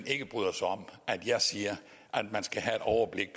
ikke bryder sig om at jeg siger at man skal have et overblik